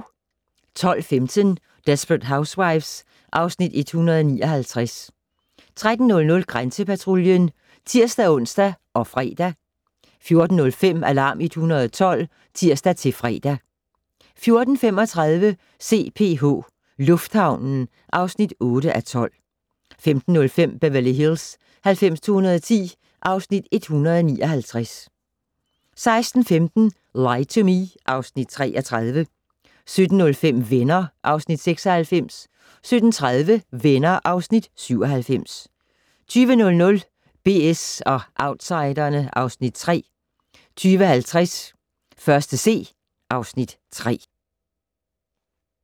12:15: Desperate Housewives (Afs. 159) 13:00: Grænsepatruljen (tir-ons og fre) 14:05: Alarm 112 (tir-fre) 14:35: CPH - lufthavnen (8:12) 15:05: Beverly Hills 90210 (Afs. 159) 16:15: Lie to Me (Afs. 33) 17:05: Venner (Afs. 96) 17:30: Venner (Afs. 97) 20:00: BS & Outsiderne (Afs. 3) 20:50: 1.C (Afs. 3)